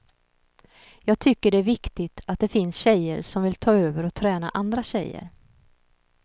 Jag tycker det är viktigt att det finns tjejer som vill ta över och träna andra tjejer.